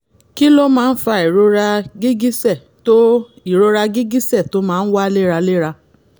kí ló máa ń fa ìrora gìgísẹ̀ tó ìrora gìgísẹ̀ tó máa ń wá léraléra?